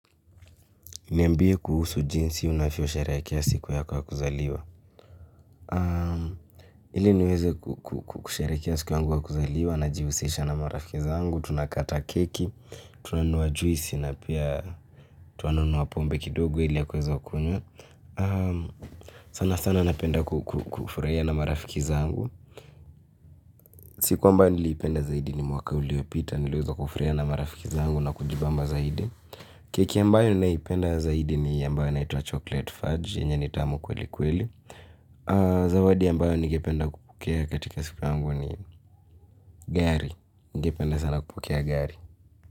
Niambie kuhusu jinsi unavyosherehekea siku yako ya kuzaliwa. Ili niweze kusherehekea siku yangu ya kuzaliwa najihusisha na marafiki zangu, tunakata keki, tunanunua juisi na pia tuanunua pombe kidogo ili ya kuweza kunywa. Sana sana napenda kufurahia na marafiki zangu. Siku ambayo niliipenda zaidi ni mwaka uliopita niliweza kufurahia na marafiki zangu na kujibamba zaidi. Keki ambayo naipenda zaidi ni ambayo inaitwa chocolate fudge yenye ni tamu kwelikweli. Zawadi ambayo ningependa kupokea katika siku yangu ni gari. Ningependa sana kupokea gari.